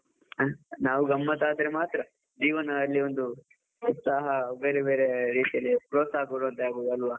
ನಾವು ಗಮ್ಮತ್ ಆದ್ರೆ ಮಾತ್ರ, ಜಿವನದಲ್ಲಿ ಒಂದು ಉತ್ಸಾಹ ಬೇರೆ ಬೇರೆ ರೀತಿಯಲ್ಲಿ ಪ್ರೋತ್ಸಾಹ ಕೊಡುವ ಅಂತಾಗುವುದು ಅಲ್ವಾ.